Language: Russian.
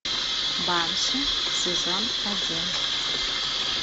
банши сезон один